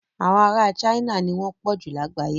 Àwọn ará China ni wọ́n pọ̀jù lágbàyé.